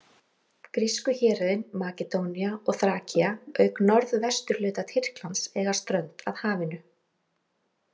Grísku héruðin Makedónía og Þrakía auk norðvesturhluta Tyrklands eiga strönd að hafinu.